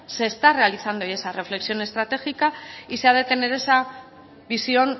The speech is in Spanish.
se está realizando ya esa reflexión estratégica y sabe tener esa visión